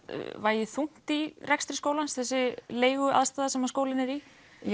vegi þungt í rekstri skólans þessi sem skólinn er í